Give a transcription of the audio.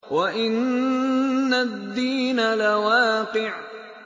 وَإِنَّ الدِّينَ لَوَاقِعٌ